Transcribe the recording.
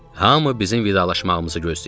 Hamı bizim vidalaşmağımızı gözləyirdi.